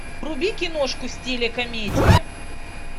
вруби киношку в стиле комедии